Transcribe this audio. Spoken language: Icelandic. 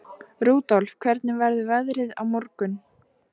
Rudolf, hvernig verður veðrið á morgun?